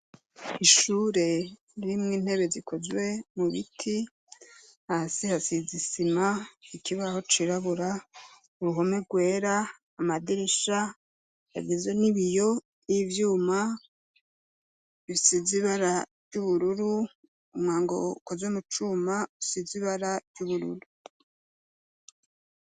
Ishure ririmwo intebe zikozwe mu biti, hasi hasize isima, ikibaho cirabura, uruhome rwera, amadirisha agizwe n'ibiyo y'ivyuma bisize ibara ry'ubururu, umwango ukozwe mu cuma usize ibara ry'ubururu.